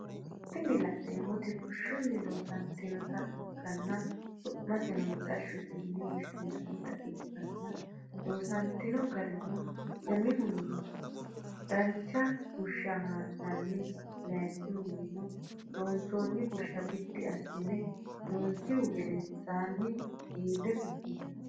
Tinni lanemoti bushunni loosanitinota ikana su’miseno mittashote yine woshinannita ikana losanitano garrino umihuni danicha bushsha haananni layinikihunino linsonni busha biddi asine loosnishu gedenisanni gire fushinani